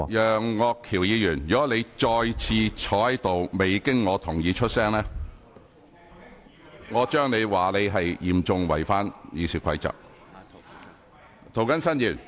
楊岳橋議員，如果你再次坐着未經我准許便發言，我會認為你是嚴重違反《議事規則》。